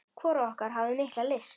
Hvorug okkar hafði mikla lyst.